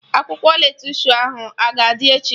Akwụkwọ lettusu ahụ a ga-adị echi?